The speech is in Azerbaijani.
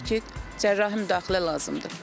Təbii ki, cərrahi müdaxilə lazımdır.